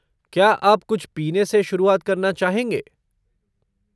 क्या आप कुछ पीने से शुरुआत करना चाहेंगे?